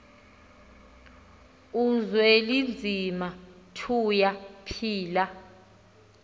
uzwelinzima tuya phila